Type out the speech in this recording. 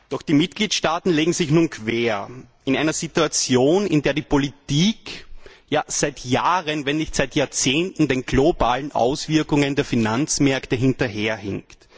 Doch die Mitgliedstaaten legen sich nun quer in einer Situation, in der die Politik ja seit Jahren, wenn nicht seit Jahrzehnten, den globalen Auswirkungen der Finanzmärkte hinterher hinkt.